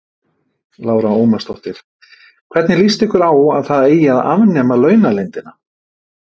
Lára Ómarsdóttir: Hvernig lýst ykkur á að það eigi að afnema launaleyndina?